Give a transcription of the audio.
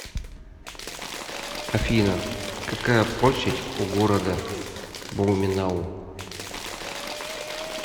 афина какая площадь у города блуменау